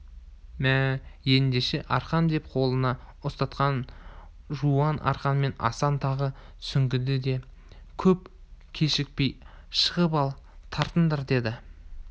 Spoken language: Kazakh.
мә ендеше арқан деп қолына ұстатқан жуан арқанмен асан тағы сүңгіді де көп кешікпей шығып ал тартыңдар деді